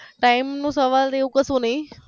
time નો સવાલ જેવું કશું નહિ